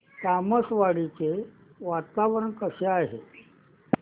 तामसवाडी चे वातावरण कसे आहे